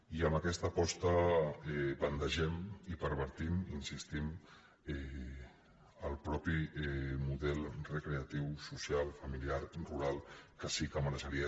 i amb aquesta aposta bandegem i pervertim hi insistim el mateix model recreatiu social familiar rural que sí que mereixeria